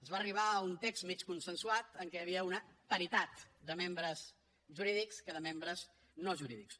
es va arribar a un text mig consensuat en què hi havia una paritat de membres jurídics i de membres no jurídics